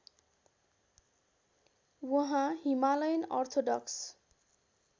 उहाँ Himalayan orthodox